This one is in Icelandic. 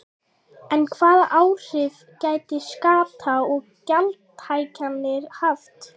En hvaða áhrif gætu skatta- og gjaldahækkanir haft?